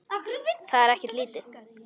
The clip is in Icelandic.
Það er ekkert lítið!